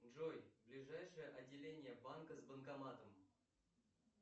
джой ближайшее отделение банка с банкоматом